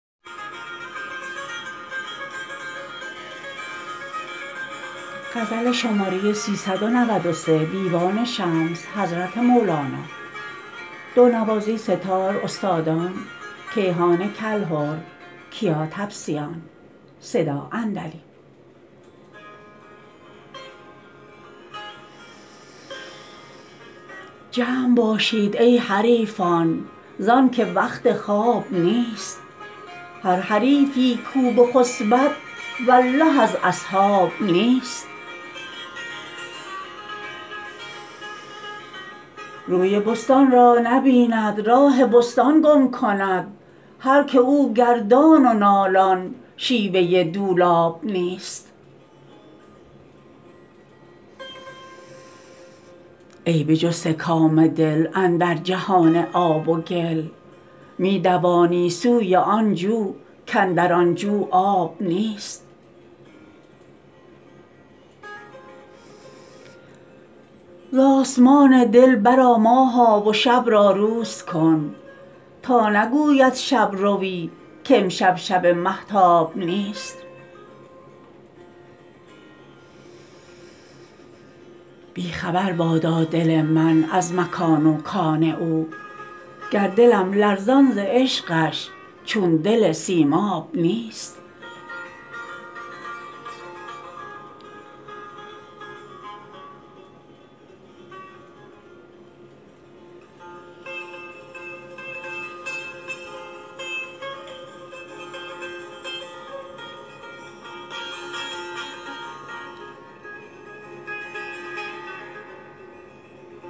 جمع باشید ای حریفان زانک وقت خواب نیست هر حریفی کو بخسبد والله از اصحاب نیست روی بستان را نبیند راه بستان گم کند هر که او گردان و نالان شیوه دولاب نیست ای بجسته کام دل اندر جهان آب و گل می دوانی سوی آن جو کاندر آن جو آب نیست ز آسمان دل برآ ماها و شب را روز کن تا نگوید شب روی کامشب شب مهتاب نیست بی خبر بادا دل من از مکان و کان او گر دلم لرزان ز عشقش چون دل سیماب نیست